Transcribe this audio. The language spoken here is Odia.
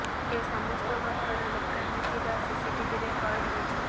ଏ ସମସ୍ତ ଘଟଣା ଦୋକାନରେ ଥିବା ସିସିଟିଭିରେ କଏଦ ହୋଇଛି